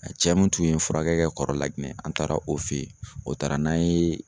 A cɛ mun tun ye n furakɛ ka kɔrɔla Laginɛ ,an taara o fe yen .O taara n'an ye